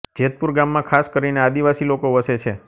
જેતપુર ગામમાં ખાસ કરીને આદિવાસી લોકો વસે છે